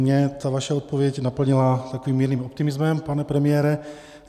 Mě ta vaše odpověď naplnila takovým mírným optimismem, pane premiére.